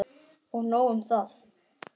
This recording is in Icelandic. Og nóg um það.